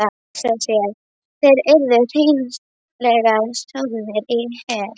Hugsa sér, þeir yrðu hreinlega soðnir í hel.